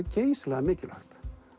geysilega mikilvægt